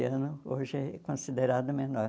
Anos, hoje é considerado menor.